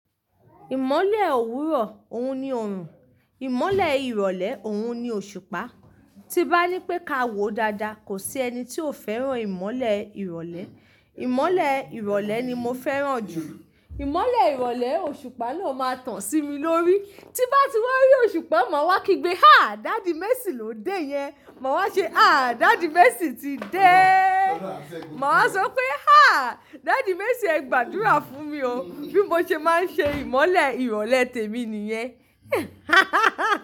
Ìmọ̀lẹ̀ òwúrọ̀ òun ni ọrùn, ìmọ̀lẹ̀ ìrọ̀lẹ́ òun ni òṣùpá. Tí bá ní pé ká wo dáadáa kò sí ẹni tí ò fẹ́ràn ìmọ̀lẹ̀ ìrọ̀lẹ́. Ìmọ̀lẹ̀ ìrọ̀lẹ́ ni mo fẹ́ràn jù. Ìmọ̀lẹ̀ ìrọ̀lẹ́ òṣùpá ló máa tàn sí mi lórí. Tí bá ti wà ri òṣùpá, màá wá kígbe, háà! Daddy Messi ló dé yẹn. Màá wá ṣe, háà! Daddy Messi ti dé. Màá wá sọ pé, háà! Daddy Messi ẹ gbàdúrà fún mi o, bí mo ṣe máa ń ṣe ìmọ̀lẹ̀ ìrọ̀lẹ́ tèmi nìyẹn.